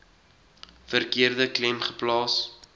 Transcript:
verkeerde klem plaas